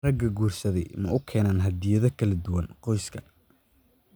Raggii guursaday ma u keeneen hadiyado kala duwan qoyska?